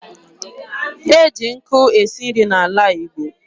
E ji nkụ esi nri n'ala Igbo.